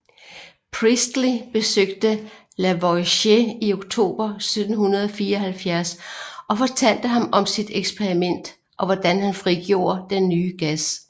Priestley besøgte Lavoisier i oktober 1774 og fortalte ham om sit eksperiment og hvordan han frigjorde den nye gas